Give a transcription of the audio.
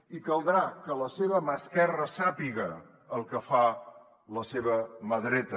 i caldrà que la seva mà esquerra sàpiga el que fa la seva mà dreta